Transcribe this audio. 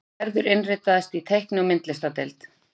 Gerður innritaðist í teikni- og myndlistadeild.